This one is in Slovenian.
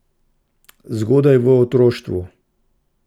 Zgodaj v otroštvu.